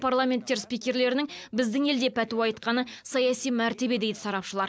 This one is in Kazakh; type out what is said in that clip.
парламенттер спикерлерінің біздің елде пәтуа айтқаны саяси мәртебе дейді сарапшылар